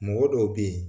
Mɔgɔ dɔw be yen